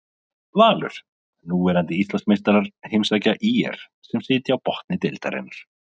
Valur, núverandi Íslandsmeistarar heimsækja ÍR sem sitja á botni deildarinnar.